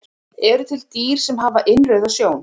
Eru til dýr sem hafa innrauða sjón?